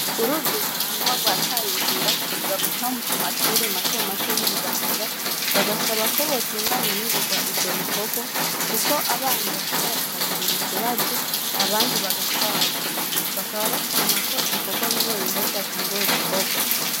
uruzi ntahangwa, Rwataye inzira ruza guca kumashure matomato y'ibubanza bagasa ko botunganya ningoga ivyo bikorwa kuko abana bashobora kuhagirira ikibazo, Abandi Bagatwarwa, bakaba bashima ko ibikorwa bimwe bimwe vyatanguwe gukorwa.